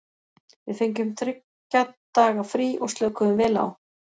Við fengum þriggja daga frí og slökuðum vel á.